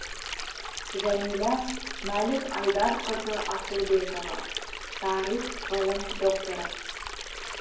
жәмила мәлік айдарқызы асылбекова тарих ғылым докторы